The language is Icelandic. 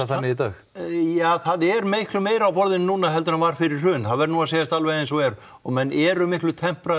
þannig í dag ja það er miklu meira á borðinu núna heldur en var fyrir hrun það verður nú að segjast alveg eins og er og menn eru miklu